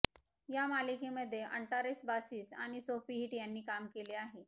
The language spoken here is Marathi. या मालिकेमध्ये अंटारेस बासीस आणि सोफी हिट यांनी काम केले आहे